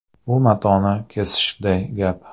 Bu matoni kesishday gap.